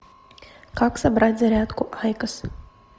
как собрать зарядку айкос